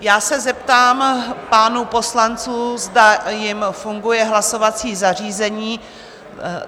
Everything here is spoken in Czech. Já se zeptám pánů poslanců, zda jim funguje hlasovací zařízení?